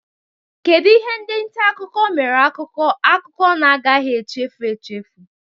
Kedu ihe ndị nta akụkọ mere akụkọ akụkọ na-agaghị echefu echefu?